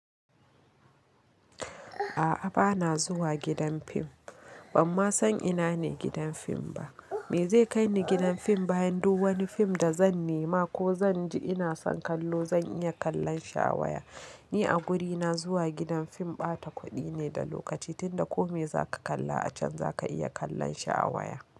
A'a bana zuwa gidan fim, bamma san ina ne gidan fim ba. Me zai kai ni gidan fim bayan duk wani fim da zan nema ko zan ji ina son kallo zan iya kallon shi a waya. Ni a wurina zuwa gidan fim ɓata kuɗi ne da lokaci tunda kome zaka kalla a can zaka iya kallon shi a waya.